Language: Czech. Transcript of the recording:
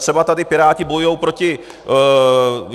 Třeba tady Piráti bojují proti...